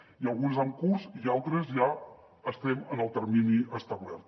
n’hi ha algunes en curs i en altres ja estem en el termini establert